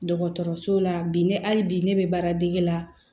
Dɔgɔtɔrɔso la bi ne hali bi ne bɛ baaradege la